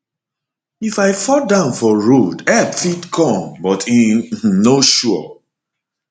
if i fall down for road help fit come but e um no sure